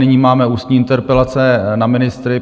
Nyní máme ústní interpelace na ministry.